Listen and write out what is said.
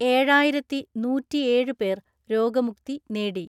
ഏഴായിരത്തിനൂറ്റിഏഴ് പേർ രോഗമുക്തി നേടി.